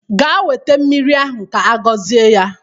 Gaa weta mmiri ahụ ka-agọzie ya!